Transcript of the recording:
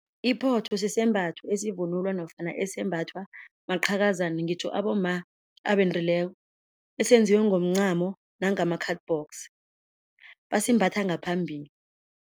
Iphotho sisembatho esivunulwa nofana esembathwa maqhakazana ngitjho abomma abendileko esenziwe ngomncamo nangema-cardbox basimbatha ngaphambili.